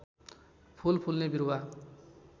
फूल फुल्ने बिरुवा